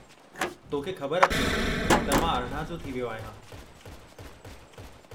तोखे ख़बरु अथई त मां अरिणां जो थी वियो आहियां ?